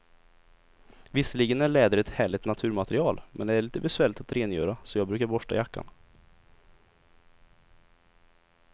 Visserligen är läder ett härligt naturmaterial, men det är lite besvärligt att rengöra, så jag brukar borsta jackan.